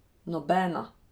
Nobena!